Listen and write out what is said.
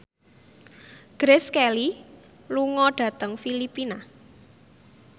Grace Kelly lunga dhateng Filipina